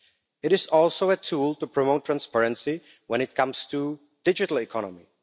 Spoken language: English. It is also a tool to promote transparency when it comes to digital economy.